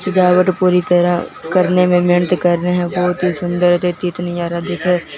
सजावट पूरी तरह करने में मेहनत कर रहे हैं बहोत ही सुंदर दिखे--